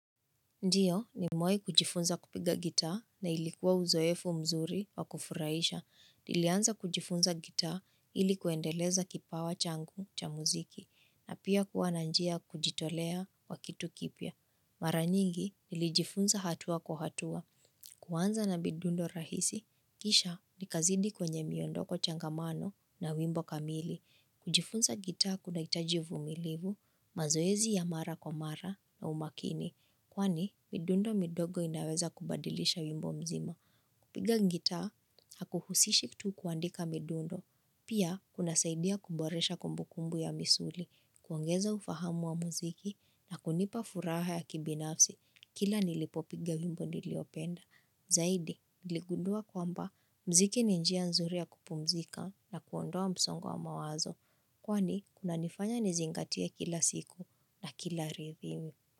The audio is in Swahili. Ndiyo nimewahi kujifunza kupiga gitaa na ilikuwa uzoefu mzuri wa kufurahisha. Nilianza kujifunza gitaa ili kuendeleza kipawa changu cha muziki na pia kuwa na njia ya kujitolea wa kitu kipya. Mara nyingi nilijifunza hatua kwa hatua kuanza na midundo rahisi. Kisha nikazidi kwenye miondoko changamano na wimbo kamili. Kujifunza gitaa kunahitaji uvumilivu mazoezi ya mara kwa mara na umakini. Kwani, midundo midogo inaweza kubadilisha wimbo mzima. Kupiga gitaa, hakuhusishi tu kuandika midundo. Pia, kuna unasaidia kuboresha kumbukumbu ya misuli, kuongeza ufahamu wa muziki, na kunipa furaha ya kibinafsi, kila nilipopiga wimbo niliopenda. Zaidi, niligundua kwamba, muziki ni njia nzuri ya kupumzika na kuondoa msongo wa mawazo. Kwani, kunanifanya nizingatie kila siku na kila rithimi.